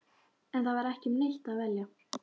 En það var ekki um neitt að velja.